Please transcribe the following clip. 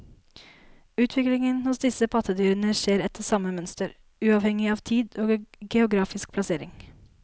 Utviklingen hos disse pattedyrene skjer etter samme mønster, uavhengig av tid og geografisk plassering.